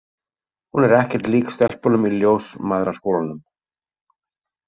Hún er ekkert lík stelpunum í Ljósmæðraskólanum.